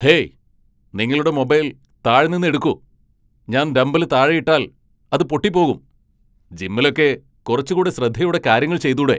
Hey, നിങ്ങളുടെ mobile താഴെ നിന്ന് എടുക്കൂ ,ഞാൻ ഡംബല് താഴെ ഇട്ടാൽ അത് പൊട്ടി പോകും, ജിമ്മിലൊക്കെ കുറച്ചു കൂടെ ശ്രദ്ധയോടെ കാര്യങ്ങൾ ചെയ്തൂടെ .